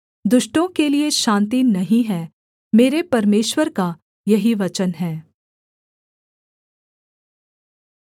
दुष्टों के लिये शान्ति नहीं है मेरे परमेश्वर का यही वचन है